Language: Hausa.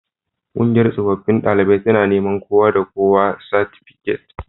Kungiyar tsofaffin daliban jami'a tana neman kowa da kowa satifiket